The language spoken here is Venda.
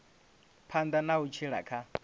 phanḓa na u tshila kha